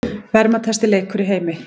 Verðmætasti leikur í heimi